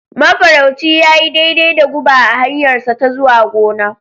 Mafarauci ya yi daidai da guba a hanyarsa ta zuwa gona.